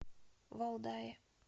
валдае